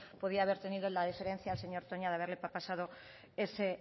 podía haber tenido la diferencia el señor toña de haberle pasado ese